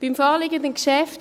Beim vorliegenden Geschäft